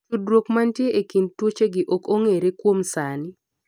tudruod manitie e kind tuochegi ok ong'ere kuom sani